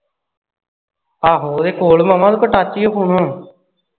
ਹਾ ਹੋ ਉਹਦੇ ਕੋਲ ਮਾਮਾ ਉਸ ਕੋਲ touch ਈ ਓ phone ਹੁਣ